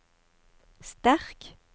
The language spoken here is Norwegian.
sterk